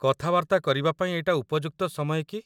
କଥାବାର୍ତ୍ତା କରିବା ପାଇଁ ଏଇଟା ଉପଯୁକ୍ତ ସମୟ କି?